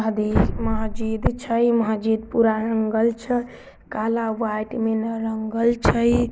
महजिद छै. महजिद पुरा रंगल छै| काला - व्हाइट में न रंगल छई ।